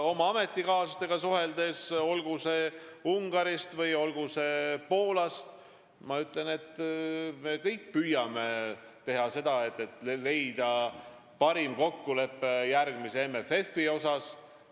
Olen suhelnud Ungari ja Poola ametikaaslastega ning ütlen, et me kõik püüame leida parimat kokkulepet järgmise MFF-i vallas.